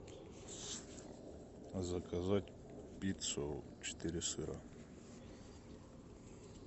заказать пиццу четыре сыра